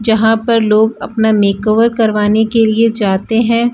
जहां पर लोग अपना मेकओवर करवाने के लिए जाते हैं।